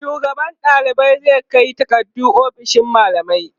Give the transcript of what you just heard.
shugaban ɗalibai zai Kai takardu ofishin mallamai